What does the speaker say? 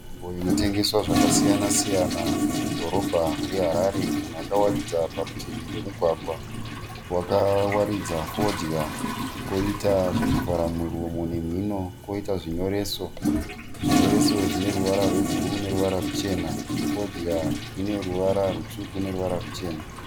Nzvimbo inotengeswa zvakasiyan -siyana mudhorobha reHarare. Munhu akawaridza parutivi pemugwagwa. Wakawaridza fodya, kwoita zvokuvhara muromo nemhino, kwoita zvinyoreso. Zvinyoreso zvine ruvara rwebhuruu neruvara ruchena. Fodya ine ruvara rutsvuku neruvara ruchena.